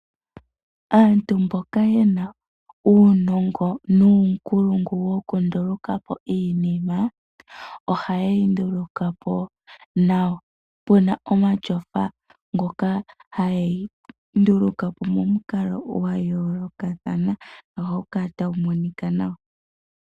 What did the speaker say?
Aantu mboka yena uunongo nuunkulungu wokunduluka po iinima oha yeyi nduluka po nawa, puna omatyofa ngoka hayeyi nduluka po momukalo gwayoolokathana ohaga kala taga monika nawa.